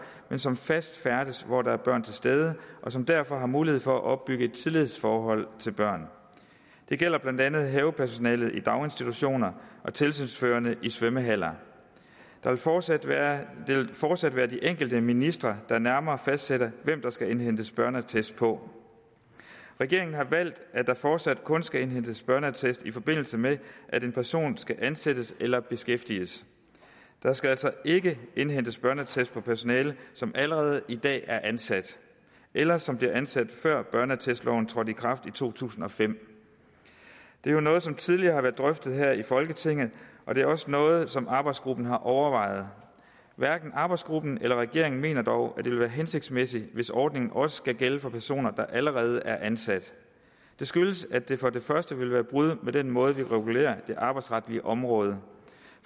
men som fast færdes hvor der er børn til stede og som derfor har mulighed for at opbygge et tillidsforhold til børn det gælder blandt andet havepersonale i daginstitutioner og tilsynsførende i svømmehaller det vil fortsat være fortsat være de enkelte ministre der nærmere fastsætter hvem der skal indhentes børneattest på regeringen har valgt at der fortsat kun skal indhentes børneattest i forbindelse med at en person skal ansættes eller beskæftiges der skal altså ikke indhentes børneattest på personale som allerede i dag er ansat eller som blev ansat før børneattestloven trådte i kraft i to tusind og fem det er jo noget som tidligere har været drøftet her i folketinget og det er også noget som arbejdsgruppen har overvejet hverken arbejdsgruppen eller regeringen mener dog at det vil være hensigtsmæssigt hvis ordningen også skulle gælde for personer der allerede er ansat det skyldes at det for det første vil bryde med den måde vi regulerer det arbejdsretlige område